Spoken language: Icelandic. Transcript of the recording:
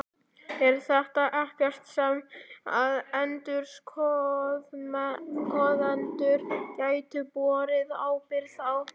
Er þetta ekkert sem að endurskoðendur gætu borið ábyrgð á?